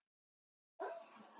Hún kreistir hönd mína.